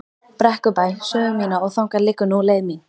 Brekkubæ sögu mína og þangað liggur nú leið mín.